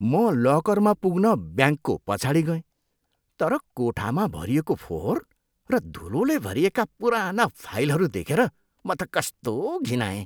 म लकरमा पुग्न ब्याङ्कको पछाडि गएँ, तर कोठामा भरिएको फोहोर र धुलोले भरिएका पुराना फाइलहरू देखेर म त कस्तो घिनाएँ।